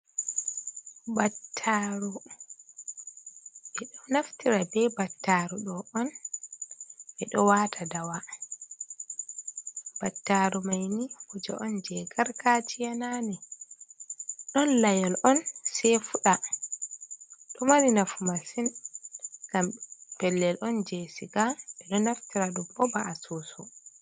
Battaaru, ɓe ɗo naftira be battaru ɗo on ɓe ɗo waata dawa, battaru maini kuje on jei gargajiya naane, ɗon layol on sei fuɗa ɗo mari nafu masin ngam pellel on jei siga ɓe ɗo naftira ɗum ɗo ba asusu.